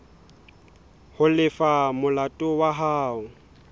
ho lefa molato wa hao